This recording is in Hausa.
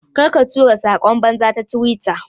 Ƙarka tura sakon banza ta twitter.